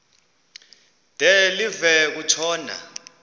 de live kutshona